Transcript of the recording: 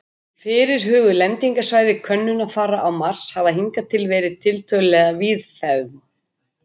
Fyrirhuguð lendingarsvæði könnunarfara á Mars hafa hingað til verið tiltölulega víðfeðm.